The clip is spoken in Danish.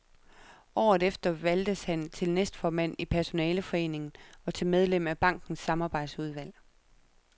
Året efter valgtes han til næstformand i personaleforeningen og til medlem af bankens samarbejdsudvalg.